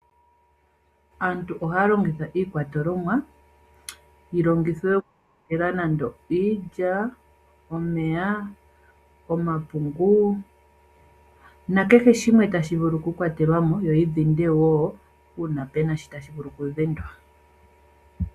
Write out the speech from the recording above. Aantu oha ya longitha iikwatelwa yi longithwe okukwatela nande iilya, omeya, omapungu nakehe shimwe tashi vulu okukwatelwa mo yo yi dhindwe wo uuna pu na sha tashi vulu okudhindwa.